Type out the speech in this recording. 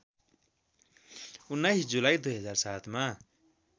१९ जुलाई २००७ मा